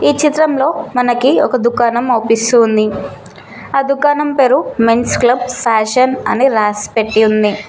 ఈ చిత్రంలో మనకి ఒక దుకాణం అవుపిస్తూ ఉంది ఆ దుకాణం పేరు మెన్స్ క్లబ్ ఫ్యాషన్ అని రాసిపెట్టి ఉంది